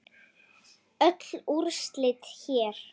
Öll úrslit hér